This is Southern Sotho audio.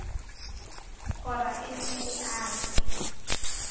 kgora e nne e ate